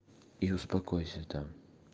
и успокойся там